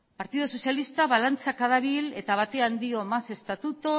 partidu sozialista balantzaka dabil eta batean dio más estatuto